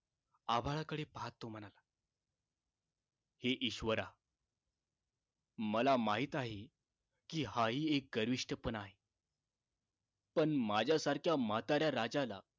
आभाळाकडे पाहत तो म्हणाला हे ईश्वरा मला माहित आहे कि हा हि एक गर्विष्ठपणा आहे पण माझ्यासारख्या म्हाताऱ्या राजाला